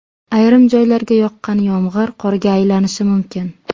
Ayrim joylarga yoqqan yomg‘ir qorga aylanishi mumkin.